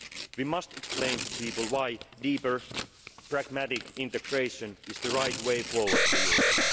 We must explain to people why deeper pragmatic integration is the right way forward for Europe.